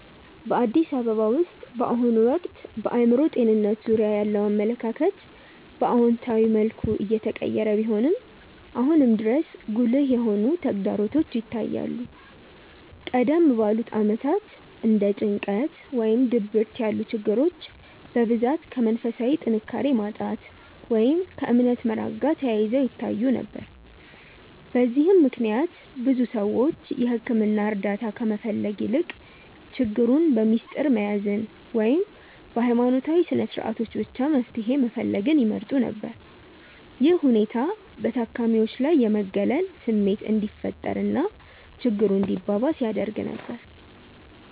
በአዲስ አበባ ውስጥ በአሁኑ ወቅት በአእምሮ ጤንነት ዙሪያ ያለው አመለካከት በአዎንታዊ መልኩ እየተቀየረ ቢሆንም፣ አሁንም ድረስ ጉልህ የሆኑ ተግዳሮቶች ይታያሉ። ቀደም ባሉት ዓመታት እንደ ጭንቀት ወይም ድብርት ያሉ ችግሮች በብዛት ከመንፈሳዊ ጥንካሬ ማጣት ወይም ከእምነት መራቅ ጋር ተያይዘው ይታዩ ነበር። በዚህም ምክንያት ብዙ ሰዎች የሕክምና እርዳታ ከመፈለግ ይልቅ ችግሩን በምስጢር መያዝን ወይም በሃይማኖታዊ ስነስርዓቶች ብቻ መፍትሄ መፈለግን ይመርጡ ነበር። ይህ ሁኔታ በታካሚዎች ላይ የመገለል ስሜት እንዲፈጠር እና ችግሩ እንዲባባስ ያደርግ ነበር።